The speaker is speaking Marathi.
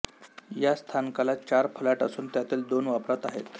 या स्थानकाला चार फलाट असून त्यातील दोन वापरात आहेत